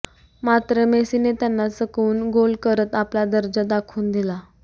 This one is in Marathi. मात्र मेसीने त्यांना चकवून गोल करत आपला दर्जा दाखवून दिला